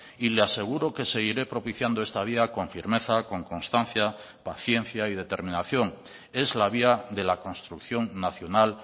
y le aseguro que seguiré propiciando esta vía con firmeza con constancia paciencia y determinación es la vía de la construcción nacional